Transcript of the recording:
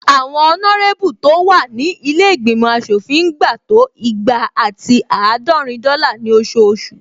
Àwọn ọnárébù tó wà ní ilé ìgbìmọ̀ aṣòfin ń gba to igba ati àádọ́rin dọ́là ní ososù